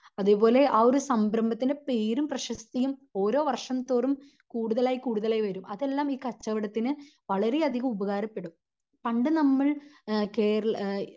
അതേപോലെ ആ ഒരു സംരംഭത്തിൻ്റെ പേരും പ്രശസ്തിയും ഓരോ വർഷം തോറും കൂടുതലായി കൂടുതലായി വരും അതെല്ലാം ഈ കച്ചവടത്തിന് വളരേ അധികം ഉപകാരപ്പെടും. പണ്ട് നമ്മൾ എഹ് കേരള